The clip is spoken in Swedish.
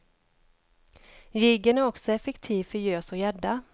Jiggen är också effektiv för gös och gädda.